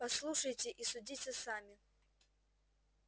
послушайте и судите сами